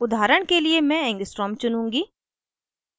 उदाहरण के लिए मैं angstrom चुनूँगी